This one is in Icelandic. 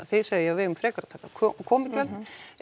þið segið að við eigum frekar að taka komugjöld